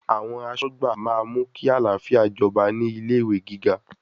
Àwọn aṣọ́gbà máa mú kí àlàáfíà jọba ní ilé ìwé gíga.